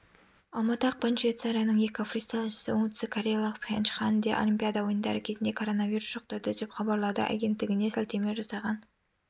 алматы ақпан швейцарияның екі фристайлшысы оңтүстік кореялық пхенчханде олимпиада ойындары кезінде норовирус жұқтырды деп хабарлады агенттігіне сілтеме жасаған